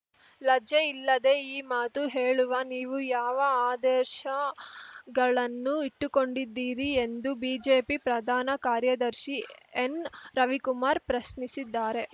ಲಜ್ಜೆ ಇಲ್ಲದೆ ಈ ಮಾತು ಹೇಳುವ ನೀವು ಯಾವ ಆದರ್ಶಗಳನ್ನು ಇಟ್ಟುಕೊಂಡಿದ್ದೀರಿ ಎಂದು ಬಿಜೆಪಿ ಪ್ರಧಾನ ಕಾರ್ಯದರ್ಶಿ ಎನ್‌ರವಿಕುಮಾರ್‌ ಪ್ರಶ್ನಿಸಿದ್ದಾರೆ